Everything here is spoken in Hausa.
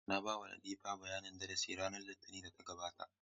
Na ba wa Latifa bayanin darasi na a ranar Litinin da ta gabata.